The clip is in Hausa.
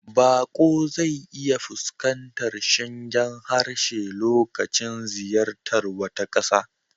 Baƙo zai iya fuskantar shingen harshe lokacin ziyartar wata ƙasa.